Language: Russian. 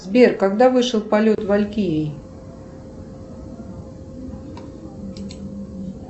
сбер когда вышел полет валькирий